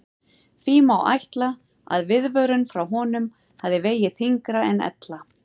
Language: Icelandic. Því má ætla að viðvörun frá honum hafi vegið þyngra en ella.